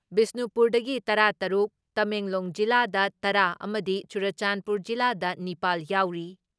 ꯕꯤꯁꯅꯨꯄꯨꯔꯗꯒꯤ ꯇꯔꯥ ꯇꯔꯨꯛ, ꯇꯃꯦꯡꯂꯣꯡ ꯖꯤꯂꯥꯗ ꯇꯔꯥ ꯑꯃꯗꯤ ꯆꯨꯔꯆꯥꯟꯄꯨꯔ ꯖꯤꯂꯥꯗ ꯅꯤꯄꯥꯜ ꯌꯥꯎꯔꯤ ꯫